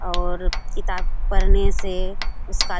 और किताब पढ़ने से उसका --